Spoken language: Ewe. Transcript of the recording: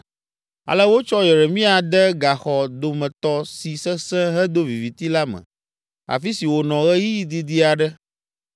Ale wotsɔ Yeremia de gaxɔ dometɔ si sesẽ hedo viviti la me, afi si wònɔ ɣeyiɣi didi aɖe.